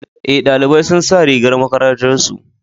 Eh, ɗalibai sun sa rigar makarantar su.